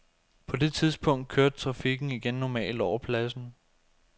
På det tidspunkt kørte trafikken igen normalt over pladsen.